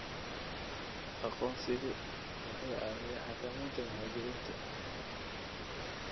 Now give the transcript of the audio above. Aqoonsigu wuxuu caawiyaa xakameynta muhaajiriinta.